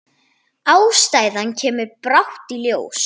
Ástæðan kemur brátt í ljós.